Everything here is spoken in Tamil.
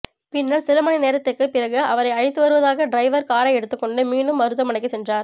பின்னர் சில மணி நேரத்துக்கு பிறகு அவரை அழைத்துவருவதற்காக டிரைவர் காரை எடுத்துக்கொண்டு மீண்டும் மருத்துவமனைக்கு சென்றார்